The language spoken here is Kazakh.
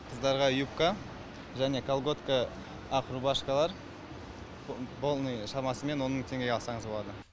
қыздарға юбка және колготка ақ рубашкалар полный шамасымен он мың теңгеге алсаңыз болады